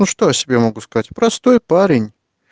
ну что я о себе могу сказать простой парень